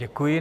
Děkuji.